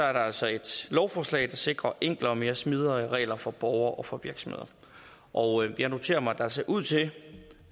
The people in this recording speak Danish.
er det altså et lovforslag der sikrer enklere og mere smidige regler for borgere og for virksomheder og jeg noterer mig at der ser ud til